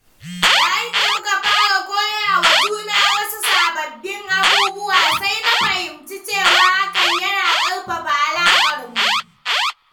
Yayin da muka fara koyawa juna wasu sababbin abubuwa, sai na fahimci cewa hakan yana ƙarfafa alaƙarmu.